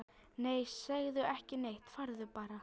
Nei, segðu ekki neitt, farðu bara.